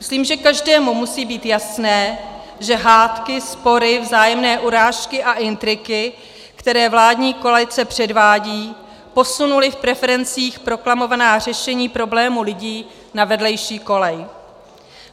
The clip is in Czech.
Myslím, že každému musí být jasné, že hádky, spory, vzájemné urážky a intriky, které vládní koalice předvádí, posunuly v preferencích proklamovaná řešení problémů lidí na vedlejší kolej.